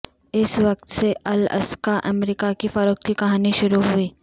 اس وقت سے الاسکا امریکہ کی فروخت کی کہانی شروع ہوئی